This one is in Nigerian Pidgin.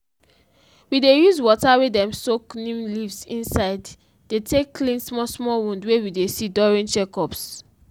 i dey put my hand for the sheep belle to check and to feel if any sign of pain stress dey happen there